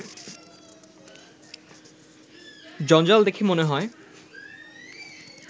জঞ্জাল দেখে মনে হয়